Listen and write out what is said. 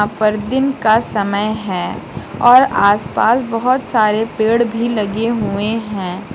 ऊपर दिन का समय है और आसपास बहुत सारे पेड़ भी लगे हुए हैं।